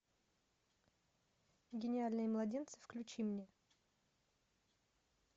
гениальные младенцы включи мне